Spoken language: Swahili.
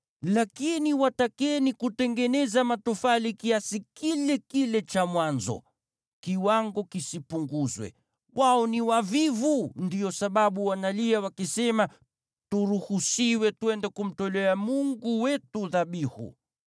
Lakini watakeni kutengeneza matofali kiasi kile kile cha mwanzo, kiwango kisipunguzwe. Wao ni wavivu, ndiyo sababu wanalia, wakisema, ‘Turuhusiwe twende kumtolea Mungu wetu dhabihu.’